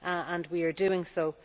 and we are doing so.